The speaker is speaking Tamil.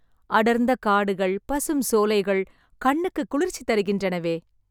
அடர்ந்த காடுகள், பசும் சோலைகள், கண்ணுக்கு குளிர்ச்சி தருகின்றனவே...